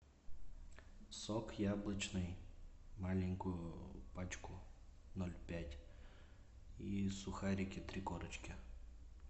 сок яблочный маленькую пачку ноль пять и сухарики три корочки